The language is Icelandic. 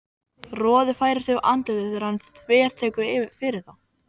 Roði færist yfir andlitið þegar hann þvertekur fyrir það.